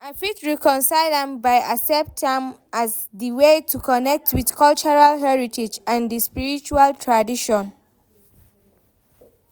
I fit reconcile am by accept am as di way to connect with cultural heritage and di sprirtual tradition.